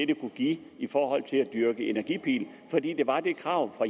det kunne give i forhold til at dyrke energipil fordi der var det krav fra